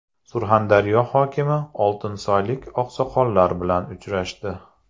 Surxondaryo hokimi oltinsoylik oqsoqollar bilan uchrashdi.